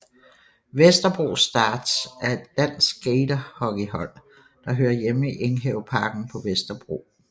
Vesterbro Starz er et dansk skaterhockeyhold der hører hjemme i Enghaveparken på Vesterbro